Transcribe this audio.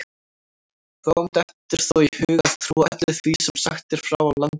Fáum dettur þó í hug að trúa öllu því sem sagt er frá í Landnámu.